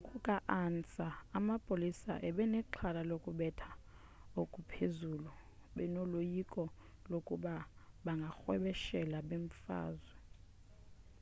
ngokuka-ansa amapolisa abenexhala lokubetha okuphezulu benoloyiko lokuba bangarhwebeshela bemfazwe